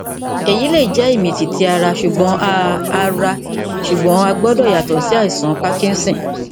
èyí lè jẹ ìmìtìtì ara ṣùgbọn a ara ṣùgbọn a gbọdọ yàtọ sí àìsàn parkinson